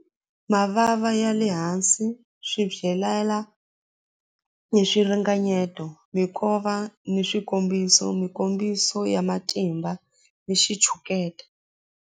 Mavava ya le hansi swi ni swiringanyeto minkova ni swikombiso mikombiso ya matimba ni xitshuketa.